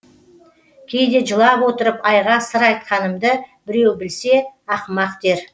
кейде жылап отырып айға сыр айтқанымды біреу білсе ақымақ дер